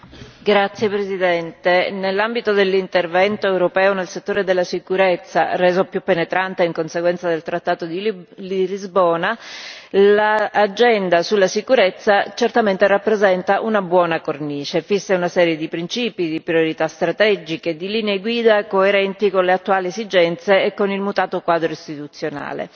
Signor Presidente, onorevoli colleghi, nell'ambito dell'intervento europeo nel settore della sicurezza, reso più penetrante in conseguenza del Trattato di le Lisbona, l'agenda sulla sicurezza rappresenta certamente una buona cornice fissa una serie di principi, di priorità strategiche, di linee guida coerenti con le attuali esigenze e con il mutato quadro istituzionale.